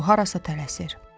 O harasa tələsir.